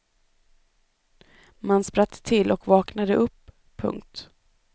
Man spratt till och vaknade upp. punkt